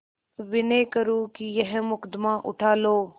विनय करुँ कि यह मुकदमा उठा लो